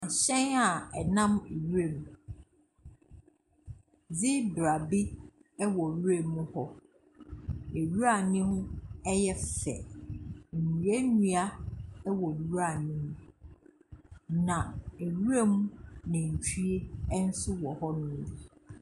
Hyɛn a ɛnam nwuram. Zebra bi wɔ nwura mu hɔ. Nwura no mu yɛ fɛ. Nnuannua wɔ nwura no mu, na nwuram nantwie nso wɔ hɔnom bi.